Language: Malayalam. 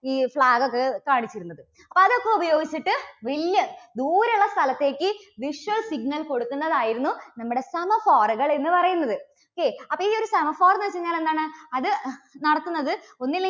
ഈ flag ഒക്കെ കാണിച്ചിരുന്നത്. അപ്പോൾ അതൊക്കെ ഉപയോഗിച്ചിട്ട് വലിയ ദൂരെയുള്ള സ്ഥലത്തേക്ക് visual signals കൊടുക്കുന്നത് ആയിരുന്നു നമ്മുടെ semaphore കൾ എന്നു പറയുന്നത്. okay അപ്പോൾ ഈ ഒരു semaphore എന്ന് വെച്ചു കഴിഞ്ഞാൽ എന്താണ് അത് നടത്തുന്നത് ഒന്നുമില്ലെ